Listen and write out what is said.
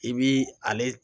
I bi ale